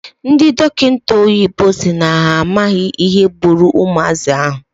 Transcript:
Ndị dọkịta oyibo si na ha amaghị ihe gburu ụmụazị ahụ.